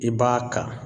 I b'a ta